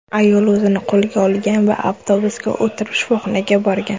Ayol o‘zini qo‘lga olgan va avtobusga o‘tirib shifoxonaga borgan.